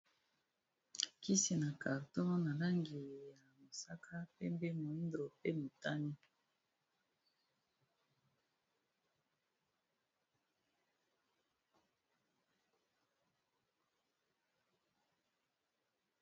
Kisi na carton na langi ya mosaka, pembe, moyindo, pe motane.